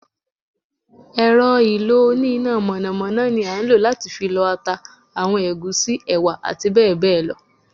èrò ìlò oní iná mọnamọna ní a ń lo latí fí lọ ata, awọn egúsí, ewa ati bẹbẹ lọ